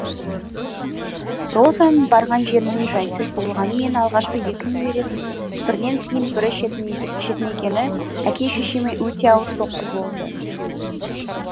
розаның барған жерінің жайсыз болғаны мен алғашқы екі немересінің бірінен кейін бірі шетінегені әке шешеме өте ауыр соққы болды